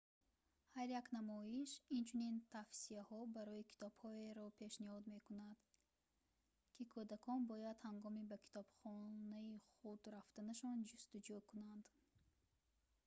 ҳар як намоиш инчунин тавсияҳо барои китобҳоеро пешниҳод мекунад ки кӯдакон бояд ҳангоми ба китобхонаи худ рафтанашон ҷустуҷӯ кунанд